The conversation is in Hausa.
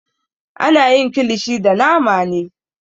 Ana yin kilishi da nama ne.